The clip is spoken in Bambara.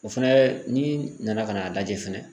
O fɛnɛ n'i nana ka n'a lajɛ fɛnɛ